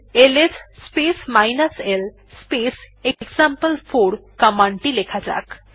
এখন L S space l space এক্সাম্পল4 command টি লেখা যাক